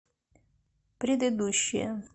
предыдущая